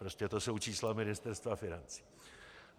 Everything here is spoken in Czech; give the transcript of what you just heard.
Prostě to jsou čísla Ministerstva financí.